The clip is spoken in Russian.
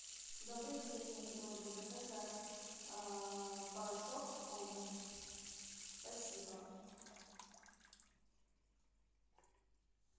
добрый день я хотела бы заказать порошок комет спасибо